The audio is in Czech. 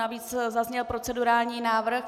Navíc zazněl procedurální návrh.